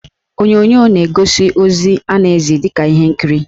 Onyonyo na-egosi ozi a na-ezi dịka ihe nkiri.